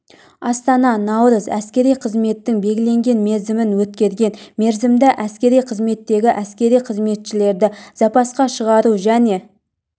астана наурыз әскери қызметтің белгіленген мерзімін өткерген мерзімді әскери қызметтегі әскери қызметшілерді запасқа шығару және